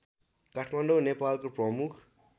काठमाडौँ नेपालको प्रमुख